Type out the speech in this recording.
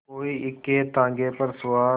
कोई इक्केताँगे पर सवार